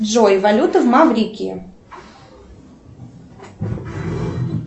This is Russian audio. джой валюта в маврикии